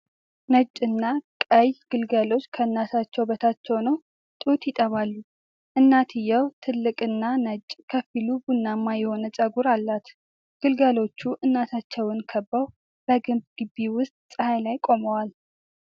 ነጭና ቀይ ግልገሎች ከእናታቸው በታች ሆነው ጡት ይጠባሉ። እናትየው ትልቅና ነጭ ከፊሉ ቡናማ የሆነ ጸጉር አላት። ግልገሎቹ እናታቸውን ከበው በግንብ ግቢ ውስጥ ፀሐይ ላይ ቆመዋል።